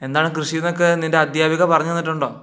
ന്താണ് കൃഷിനൊക്കെ അധ്യാപിക പറഞ്ഞു തന്നിട്ടുണ്ടോ